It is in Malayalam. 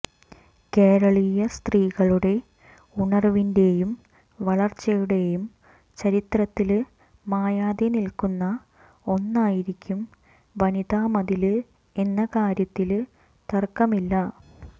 കേരളീയ സ്ത്രീകളുടെ ഉണര്വിന്റെയും വളര്ച്ചയുടെയും ചരിത്രത്തില് മായാതെ നില്ക്കുന്ന ഒന്നായിരിക്കും വനിതാ മതില് എന്ന കാര്യത്തില് തര്ക്കമില്ല